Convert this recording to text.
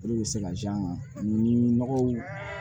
O de bɛ se ka nɔgɔw